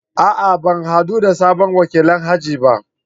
A'a! Ban hadu da sabon wakilin aji ba.